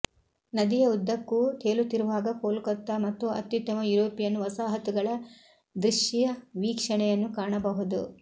ನದಿಯ ಉದ್ದಕ್ಕೂ ತೇಲುತ್ತಿರುವಾಗ ಕೋಲ್ಕತ್ತಾ ಮತ್ತು ಅತ್ಯುತ್ತಮ ಯುರೋಪಿಯನ್ ವಸಾಹತುಗಳ ದೃಶ್ಯವೀಕ್ಷಣೆಯನ್ನು ಕಾಣಬಹುದು